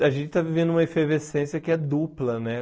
Olha, a gente está vivendo uma efervescência que é dupla, né?